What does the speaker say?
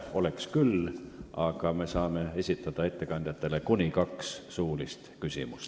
Oleks küll, aga me saame ettekandjatele esitada kuni kaks suulist küsimust.